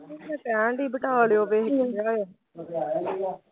ਓਥੋਂ ਕਹਿਣ ਦੀ ਬਟਾਲਿਓਂ ਕੋਈ